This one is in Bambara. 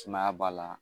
Sumaya b'a la